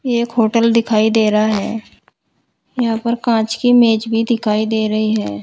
एक होटल दिखाई दे रहा है यहां पर कांच की मेज भी दिखाई दे रही है।